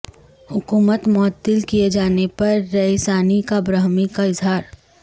حکومت معطل کیے جانے پر رئیسانی کا برہمی کا اظہار